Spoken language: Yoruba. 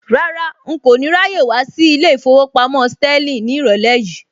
Rárá, n kò ní ráyè wá sí ilé ìfowópamọ́ Sterling ní ìrọ̀lẹ́ yìí